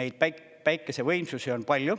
neid päiksevõimsusi on palju.